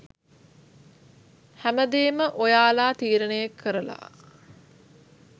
හැමදේම ඔයාලා තීරණය කරලා